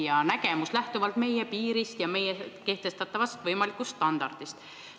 See nägemus lähtub meie piirist ja kehtestatavast võimalikust standardist.